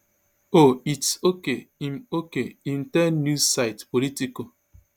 oh its okay im okay im tell news site politico